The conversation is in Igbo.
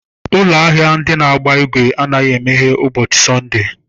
Ụlọ ahịa ndị na-agba igwe anaghị emeghe ụbọchị Sọnde.